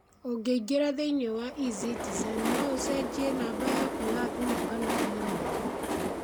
Ũngĩingĩra thĩinĩ wa e-Citizen, no ũcenjie namba yaku ya thimũ kana imĩrũ.